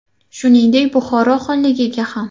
Shuningdek, Buxoro xonligiga ham.